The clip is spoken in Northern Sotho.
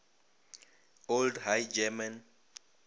old high german